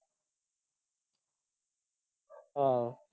ਆਹੋ।